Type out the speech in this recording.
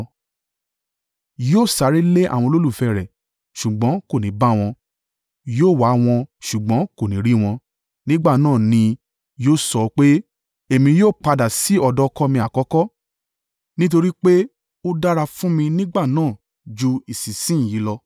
Yóò sáré lé àwọn olólùfẹ́ rẹ̀ ṣùgbọ́n kò ní bá wọn; yóò wá wọn ṣùgbọ́n kò ní rí wọn. Nígbà náà ni yóò sọ pé, ‘Èmi ó padà sí ọ̀dọ̀ ọkọ mi àkọ́kọ́ nítorí pé ó dára fún mi nígbà náà ju ìsinsin yìí lọ.’